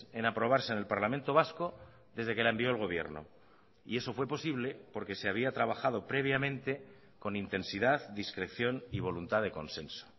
en aprobarse en el parlamento vasco desde que la envió el gobierno y eso fue posible porque se había trabajado previamente con intensidad discreción y voluntad de consenso